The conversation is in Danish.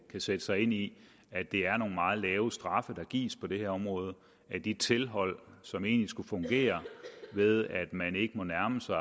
sætte sig ind i at det er nogle meget lave straffe der gives på det her område og at de tilhold som egentlig skulle fungere ved at man ikke må nærme sig